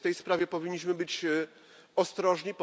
W tej sprawie powinniśmy być więc ostrożni.